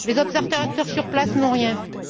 Les observateurs sur place n'ont rien vu.